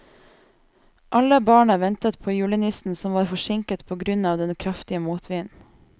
Alle barna ventet på julenissen, som var forsinket på grunn av den kraftige motvinden.